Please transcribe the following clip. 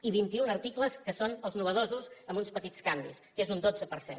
i vint un articles que són els innovadors amb uns petits canvis que és un dotze per cent